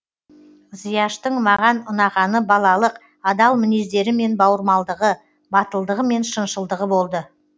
зияштың маған ұнағаны балалық адал мінездері мен бауырмалдығы батылдығы мен шыншылдығы болды